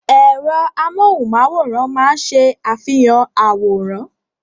Ẹ̀rọ amóhùnmáwòrán máa ń ṣe àfihàn àwòrán.